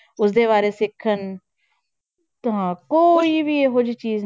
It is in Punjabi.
ਉਸਦੇ ਬਾਰੇ ਸਿੱਖਣ ਹਾਂ ਕੋਈ ਵੀ ਇਹੋ ਜਿਹੀ ਚੀਜ਼